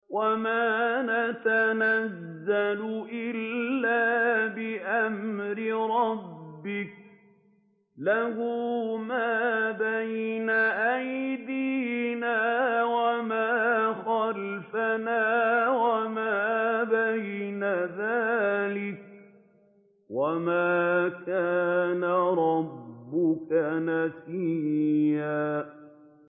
وَمَا نَتَنَزَّلُ إِلَّا بِأَمْرِ رَبِّكَ ۖ لَهُ مَا بَيْنَ أَيْدِينَا وَمَا خَلْفَنَا وَمَا بَيْنَ ذَٰلِكَ ۚ وَمَا كَانَ رَبُّكَ نَسِيًّا